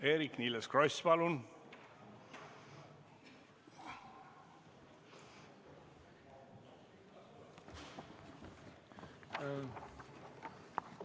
Eerik-Niiles Kross, palun!